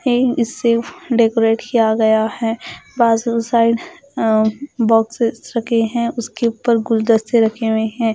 ए इससे डेकोरेट किया गया है बाजु साइड बॉक्सेस रखे है उसके उपर गुल्दस्ते रखे हुए है।